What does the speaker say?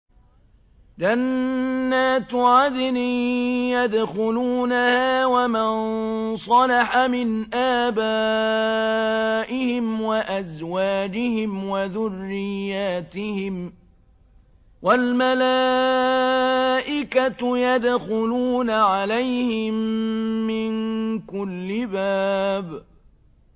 جَنَّاتُ عَدْنٍ يَدْخُلُونَهَا وَمَن صَلَحَ مِنْ آبَائِهِمْ وَأَزْوَاجِهِمْ وَذُرِّيَّاتِهِمْ ۖ وَالْمَلَائِكَةُ يَدْخُلُونَ عَلَيْهِم مِّن كُلِّ بَابٍ